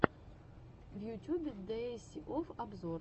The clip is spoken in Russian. в ютюбе диэсси офф обзор